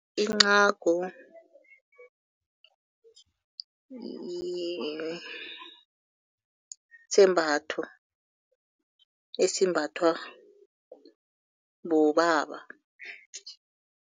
Incagu yisembatho esimbathwa bobaba.